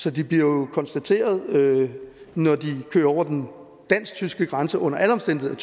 så de bliver jo konstateret når de kører over den dansk tyske grænse under alle omstændigheder